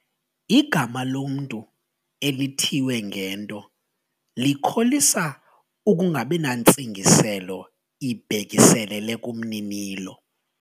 Igama lomntu elithiywe ngento likholisa ukungabi nantsingiselo ibhekiselele kumninilo.